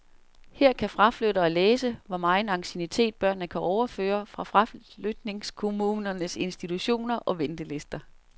Her kan tilflyttere læse, hvor megen anciennitet børnene kan overføre fra fraflytningskommunens institutioner og ventelister.